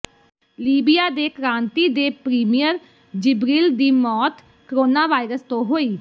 Libya ਦੇ ਕ੍ਰਾਂਤੀ ਦੇ ਪ੍ਰੀਮੀਅਰ ਜਿਬ੍ਰਿਲ ਦੀ ਮੌਤ ਕੋਰੋਨਾਵਾਇਰਸ ਤੋਂ ਹੋਈ